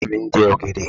Ìyá mi ń jẹ ọ̀gẹ̀dẹ̀.